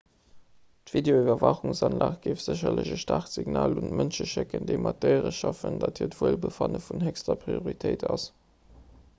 d'videoiwwerwaachungsanlag géif sécherlech e staarkt signal un d'mënsche schécken déi mat déiere schaffen datt hiert wuelbefanne vun héchster prioritéit ass